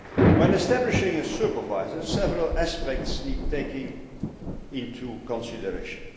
When establishing a Supervisor, several aspects need to be taken into consideration.